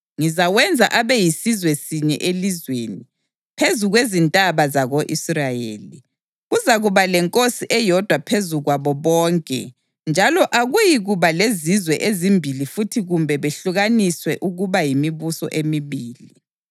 Ngizawenza abe yisizwe sinye elizweni, phezu kwezintaba zako-Israyeli. Kuzakuba lenkosi eyodwa phezu kwabo bonke njalo akuyikuba lezizwe ezimbili futhi kumbe behlukaniswe ukuba yimibuso emibili.